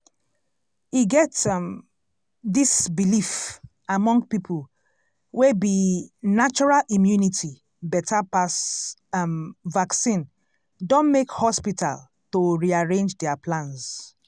e get um dis belief among people wey be natural immunity beta pass um vaccine don make hospital to rearrange their plans.